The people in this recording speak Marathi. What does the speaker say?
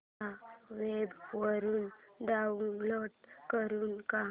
या वेब वरुन डाऊनलोड करू का